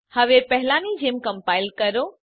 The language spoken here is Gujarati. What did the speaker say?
હવે પહેલાની જેમ કમ્પાઈલ કરો